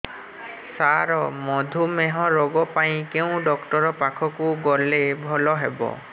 ସାର ମଧୁମେହ ରୋଗ ପାଇଁ କେଉଁ ଡକ୍ଟର ପାଖକୁ ଗଲେ ଭଲ ହେବ